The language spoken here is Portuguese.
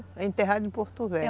Foi enterrado em Porto Velho.